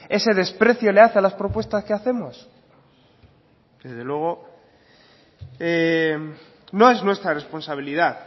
ese desprecio le hace a las propuestas que hacemos desde luego no es nuestra responsabilidad